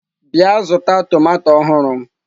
Bịa zụta tomato ọhụrụ m!